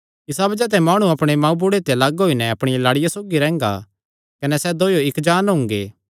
इसा बज़ाह ते माणु अपणे मांऊ बुढ़े ते लग्ग होई नैं अपणिया लाड़िया सौगी रैंह्गा कने सैह़ दोयो इक्क जान्न हुंगे